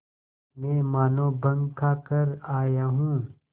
मैं मानों भंग खाकर आया हूँ